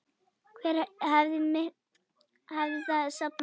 Hve miklu hafið þið safnað?